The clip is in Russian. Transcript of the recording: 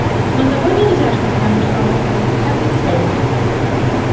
но тогда нельзя чтобы я уничтожил себя без всякой цели